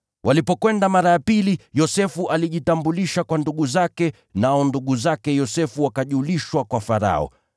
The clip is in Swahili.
Walipokwenda mara ya pili, Yosefu alijitambulisha kwa ndugu zake, nao ndugu zake Yosefu wakajulishwa kwa Farao.